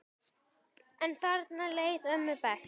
En þarna leið ömmu best.